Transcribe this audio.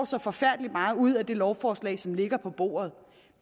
så forfærdelig meget ud af det lovforslag som ligger på bordet